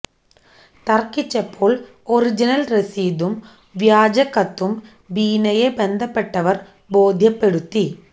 തർക്കിച്ചപ്പോൾ original രസീതും വ്യാജ കത്തും ബീനയെ ബന്ധപ്പെട്ടവർ ബോദ്ധ്യപ്പെടുത്തി